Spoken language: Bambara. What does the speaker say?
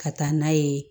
Ka taa n'a ye